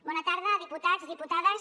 bona tarda diputats diputades